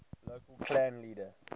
local clan leader